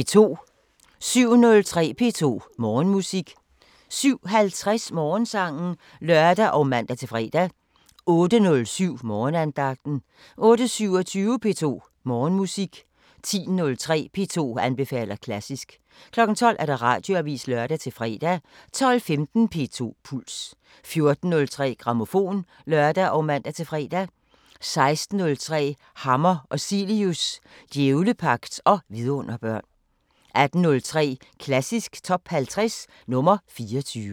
07:03: P2 Morgenmusik 07:50: Morgensangen (lør og man-fre) 08:07: Morgenandagten 08:27: P2 Morgenmusik 10:03: P2 anbefaler klassisk 12:00: Radioavisen (lør-fre) 12:15: P2 Puls 14:03: Grammofon (lør og man-fre) 16:03: Hammer og Cilius – djævlepagt og vidunderbørn 18:03: Klassisk Top 50 – nr. 24